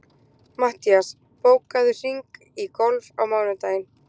Mattías, bókaðu hring í golf á mánudaginn.